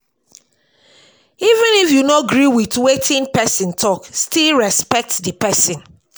Even if you no gree with wetin person talk, still respect the person